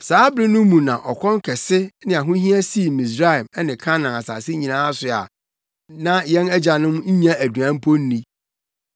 “Saa bere no mu na ɔkɔm kɛse ne ahohia sii Misraim ne Kanaan asase nyinaa so a na yɛn agyanom nnya aduan mpo nni.